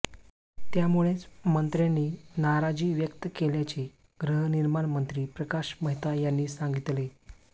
त्यामुळेच मंत्र्यांनी नाराजी व्यक्त केल्याचे गृहनिर्माण मंत्री प्रकाश मेहता यांनी सांगितले